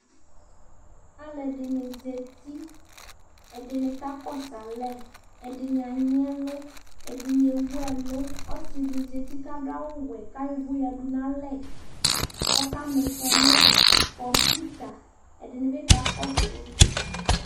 aloɛdini zati ɛdini ka kɔsu alɛ ɛdini anyi ɛlu ɛdini ewu ɛlu ɔse di zati k'ado awu k'ayɔ uvò yadu n'alɛ k'ɔka m'ifɔ no kɔmputa ɛdini bi ka kɔsu